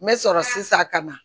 N bɛ sɔrɔ sisan ka na